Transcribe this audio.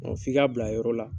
f'i ka bila yɔrɔ la